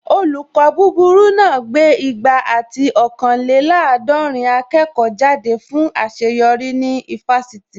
Olùkọ́ búburú náà gbé igba ati ọ̀kanlélàádọ̀rìn akẹ́kọ̀ọ́ jáde fún àṣeyọrí ní ifásitì